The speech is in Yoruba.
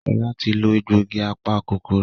Shola tí lọ egbògi apa-kòkòrò.